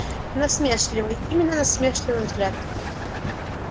насмешливый именно насмешливый взгляд